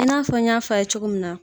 I n'a fɔ n y'a f'a' ye cogo min na